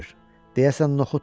deyəsən noxuddur.